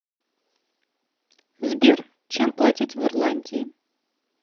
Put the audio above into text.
сбер чем платить в ирландии